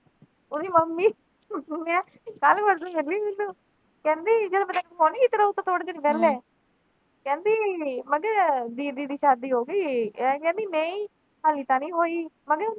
ਉਹਦੀ ਮੰਮੀ ਕੱਲ ਮਿਲੀ ਕਹਿੰਦੀ ਮੈਨੂੰ, ਕਹਿੰਦੀ ਥੋੜੇ ਦਿਨ ਕਹਿੰਦੀ, ਮੈਂ ਕਿਆ ਦੀਦੀ ਦੀ ਸਾਡੀ ਹੋਗੀ, ਕਹਿੰਦੀ ਨਈਂ ਹਾਲੇ ਤਾਂ ਨੀਂ ਹੋਈ।